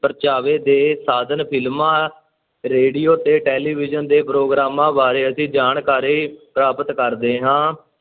ਪਰਚਾਵੇ ਦੇ ਸਾਧਨ ਫ਼ਿਲਮਾਂ, ਰੇਡੀਓ ਤੇ ਟੈਲੀਵਿਜ਼ਨ ਦੇ ਪ੍ਰੋਗਰਾਮਾਂ ਬਾਰੇ ਅਸੀਂ ਜਾਣਕਾਰੀ ਪ੍ਰਾਪਤ ਕਰਦੇ ਹਾਂ।